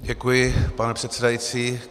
Děkuji, pane předsedající.